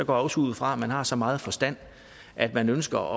også ud fra at man har så meget forstand at man ønsker